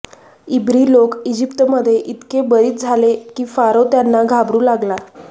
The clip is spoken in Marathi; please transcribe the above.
इब्री लोक इजिप्तमध्ये इतके बरीच झाले की फारो त्यांना घाबरू लागला